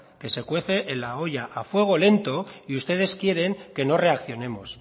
que se cuece en la olla a fuego lento y ustedes quieren que no reaccionemos